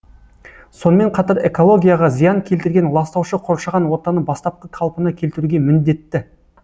сонымен қатар экологияға зиян келтірген ластаушы қоршаған ортаны бастапқы қалпына келтіруге міндетті